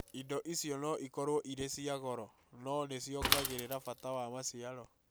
Indo icio no ikorũo irĩ cia goro, no nĩ ciongagĩrĩra bata wa maciaro.